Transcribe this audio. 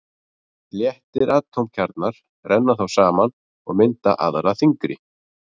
Léttir atómkjarnar renna þá saman og mynda aðra þyngri.